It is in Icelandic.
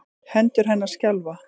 Hendur hennar skjálfa.